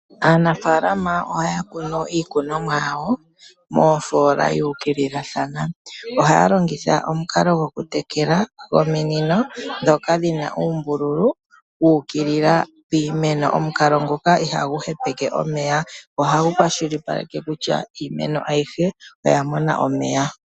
Aanafaalama ohaya kunu iikunomwa yawo moofoola yu ukililathana. Ohaya longitha omukalo gokutekela gominino ndhoka dhi na uunbululu wu ukilila piimeno . Omukalo ngoka ihagu hepeke omeya, ohagu kwashilipaleke kutya iimeno ayihe oya mona omeya.